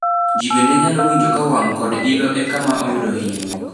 Ji bende nyalo winjo ka wang' kod ilo e kama oyudo hinyruok.